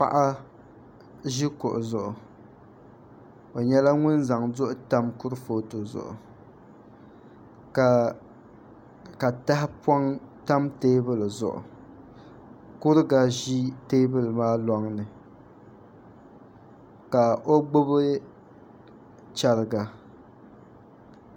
Paɣa ʒi kuɣu zuɣu o nyɛla ŋun zaŋ duɣu tam kurifooti zuɣu ka tahapoŋ tam teebuli zuɣu kuriga ʒi teebuli maa loŋni ka o gbubi chɛriga